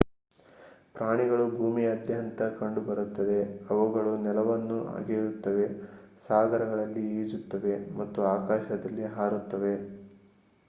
ಪ್ರಾಣಿಗಳು ಭೂಮಿಯಾದ್ಯಂತ ಕಂಡುಬರುತ್ತವೆ ಅವುಗಳು ನೆಲವನ್ನು ಅಗೆಯುತ್ತವೆ ಸಾಗರಗಳಲ್ಲಿ ಈಜುತ್ತವೆ ಮತ್ತು ಆಕಾಶದಲ್ಲಿ ಹಾರುತ್ತವೆ